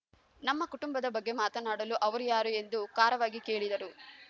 ನಮ್ಮ ಕುಟುಂಬದ ಬಗ್ಗೆ ಮಾತನಾಡಲು ಅವರು ಯಾರು ಎಂದು ಖಾರವಾಗಿ ಕೇಳಿದರು